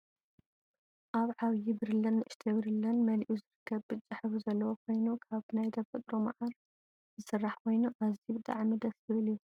ኣብ ዓብይ ብርለን ንእሽተይ ብርለን መልኡ ዝርከብ ብጫ ሕብሪ ዘለዎ ኮይኑ ካብ ናይ ተፈጥሮ መዓር ዝስራሕ ኮይኑ ኣዝዩ በጣዕሚ ደስ ዝብል እዩ።